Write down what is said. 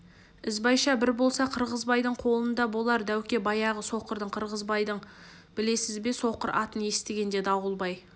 ізбайша бір болса қырғызбайдың қолында болар дәуке баяғы соқырдың қырғызбайын білесіз бе соқыр атын естігенде дауылбай